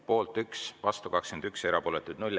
Poolt 1, vastu 21, erapooletuid 0.